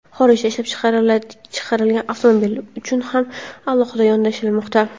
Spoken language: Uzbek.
Xorijda ishlab chiqarilgan avtomobillar uchun ham alohida yondashilmoqda.